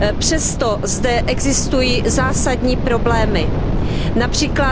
Přesto zde existují zásadní problémy, např.